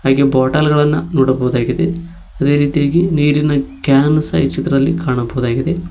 ಹಾಗೆ ಬಾಟಲ್ ಗಳನ್ನ ನೋಡಬಹುದಾಗಿದೆ ಅದೇ ರೀತಿಯಾಗಿ ನೀರಿನ ಕ್ಯಾನ್ ಈ ಚಿತ್ರದಲ್ಲಿ ಕಾಣಬಹುದಾಗಿದೆ.